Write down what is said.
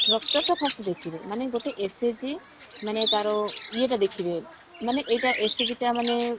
structure ଟା first ଦେଖିବେ ମାନେ ଗୋଟେ SHG ମାନେ ତାର ଇଏ ଟା ଦେଖିବେ ମାନେ ଏଇଟା SHG ଟା ମାନେ